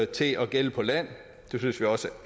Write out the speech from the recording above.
til at gælde på land det synes vi også